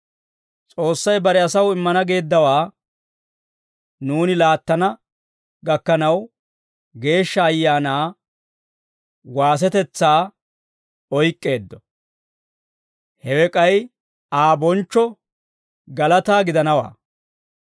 S'oossay bare asaw immana geeddawaa nuuni laattana gakkanaw, Geeshsha Ayaanaa waasetetsaa oyk'k'eeddo. Hewe k'ay Aa bonchchoo, galataa gidanawaa.